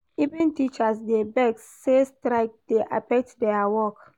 Even teachers dey vex sey strike dey affect their work.